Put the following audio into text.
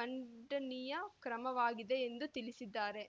ಖಂಡನೀಯ ಕ್ರಮವಾಗಿದೆ ಎಂದು ತಿಳಿಸಿದ್ದಾರೆ